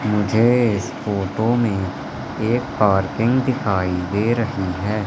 मुझे इस फोटो में एक पार्किंग दिखाई दे रही है।